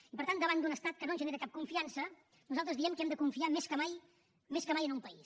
i per tant davant d’un estat que no ens genera cap confiança nosaltres diem que hem de confiar més que mai més que mai en un país